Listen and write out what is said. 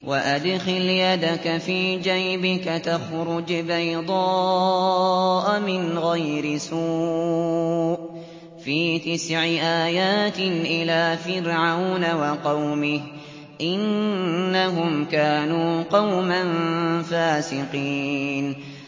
وَأَدْخِلْ يَدَكَ فِي جَيْبِكَ تَخْرُجْ بَيْضَاءَ مِنْ غَيْرِ سُوءٍ ۖ فِي تِسْعِ آيَاتٍ إِلَىٰ فِرْعَوْنَ وَقَوْمِهِ ۚ إِنَّهُمْ كَانُوا قَوْمًا فَاسِقِينَ